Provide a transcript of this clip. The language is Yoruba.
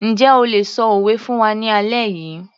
Njẹ́ o lè ṣọ òwe fún wa ní alẹ́ yìí